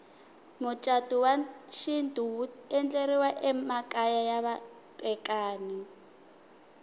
mucatu wa xintu wu endleriwa emakaya ya vatekani